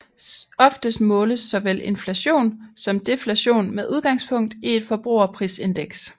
Oftest måles såvel inflation som deflation med udgangspunk i et forbrugerprisindeks